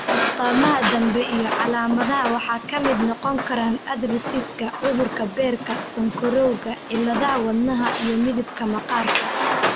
astamaha dambe iyo calaamadaha waxaa ka mid noqon kara arthritis-ka, cudurka beerka, sonkorowga, cilladaha wadnaha, iyo midabka maqaarka.